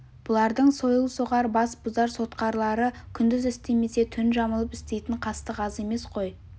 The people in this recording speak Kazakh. бұлардың сойыл соғар бас бұзар сотқарлары күндіз істемесе түн жамылып істейтін қастық аз емес қой